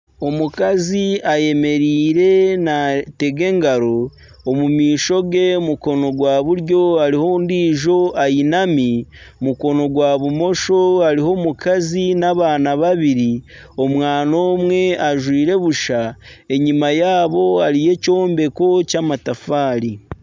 Omukazi ayemereire natega engaro. Omu maisho ge omu mukono gwa buryo hariho ondijo ayinami, omu mukono gwa bumosho hariyo omukazi n'abaana babiri. Omwaana omwe ajwaire busha. Enyima yaabo hariyo ekyombeko ky'amatafaari.